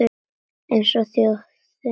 Eins og þjóðin öll